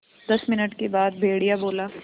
दस मिनट के बाद भेड़िया बोला